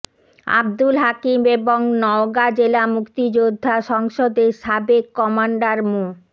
আব্দুল হাকিম এবং নওগাঁ জেলা মুক্তিযোদ্ধা সংসদের সাবেক কমান্ডার মো